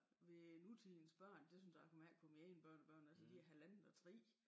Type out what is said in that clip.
Ved nutidens børn det synes jeg kan mærke på mine egne børnebørn altså er er halvandet og 3